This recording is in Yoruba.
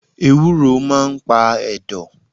Ewúro máà ń pa ẹ̀dọ̀